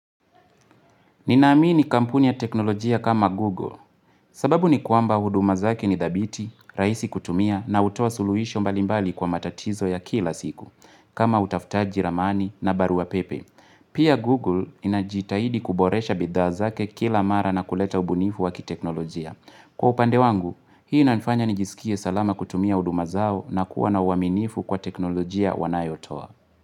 Ninaamini kampuni ya teknolojia kama Google, sababu ni kwamba huduma zake ni thabiti, rahisi kutumia na hutoa suluisho mbalimbali kwa matatizo ya kila siku, kama utafutaji ramani na barua pepe. Pia Google inajitahidi kuboresha bidhaa zake kila mara na kuleta ubunifu wakiteknolojia. Kwa upande wangu, hii inanifanya nijisikie salama kutumia huduma zao na kuwa na uaminifu kwa teknolojia wanayotoa.